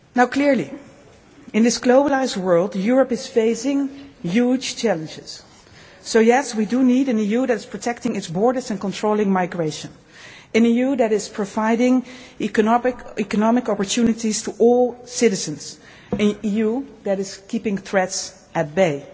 Clearly, in this globalised world, Europe is facing huge challenges. So yes, we do need an EU that is protecting its borders and controlling migration, an EU that is providing economic opportunities for all citizens, and an EU that is keeping threats at